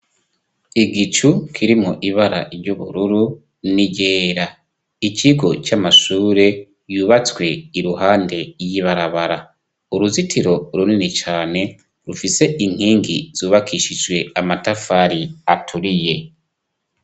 Igicu kirimo ibara ry'ubururu niryera ikigo c'amashure yubatswe iruhande yibarabara uruzitiro runini cane rufise inkingi zubakishijwe amatafari aturiye.